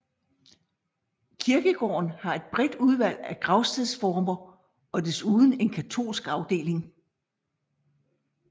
Kirkegården har et bredt udvalg af gravstedsformer og desuden en katolsk afdeling